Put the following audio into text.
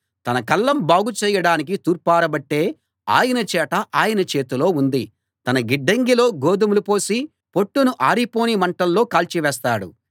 తన కళ్ళం బాగు చేయడానికి తూర్పారబట్టే ఆయన చేట ఆయన చేతిలో ఉంది తన గిడ్డంగిలో గోదుమలు పోసి పొట్టును ఆరిపోని మంటల్లో కాల్చివేస్తాడు